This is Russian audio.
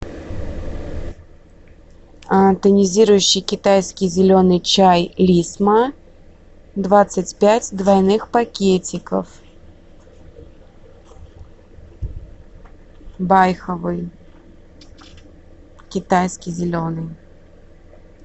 тонизирующий китайский зеленый чай лисма двадцать пять двойных пакетиков байховый китайский зеленый